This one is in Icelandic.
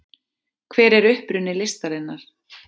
hver er uppruni listarinnar